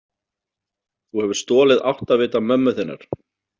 Þú hefur stolið áttavita mömmu þinnar.